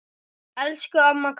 Elsku amma Kata.